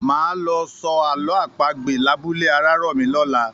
Máa lọ sọ àlọ́ àpagbè labúlé Arárọ̀mí lọ̀la